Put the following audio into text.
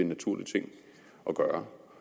naturlig ting at gøre